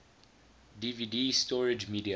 dvd storage media